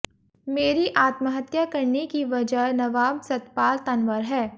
मेरी आत्महत्या करने की वजह नवाब सतपाल तंवर है